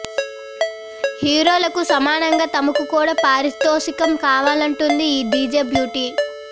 హీరోలకు సమానంగా తమకు కూడా పారితోషికం కావాలంటుంది ఈ డిజే బ్యూటీ